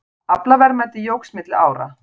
Aflaverðmæti jókst milli ára